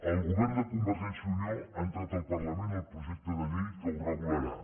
el govern de convergència i unió ha entrat al parlament el projecte de llei que ho regularà